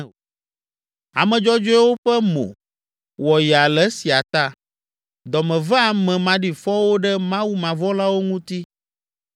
Ame dzɔdzɔewo ƒe mo wɔ yaa le esia ta; dɔ me ve ame maɖifɔwo ɖe mawumavɔ̃lawo ŋuti.